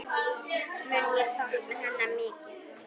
Mun ég sakna hennar mikið.